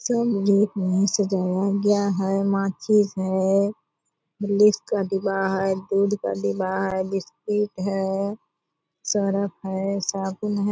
सब यही सजाया गया है | माचिस है का डिब्बा है दूध का डिब्बा है बिस्किट है सर्फ़ है साबुन है |